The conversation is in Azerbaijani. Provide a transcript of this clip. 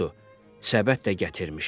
Budur, səbət də gətirmişəm.